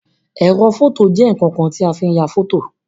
Ẹrọ fọto jẹ nkankan ti a fi n ya fọto.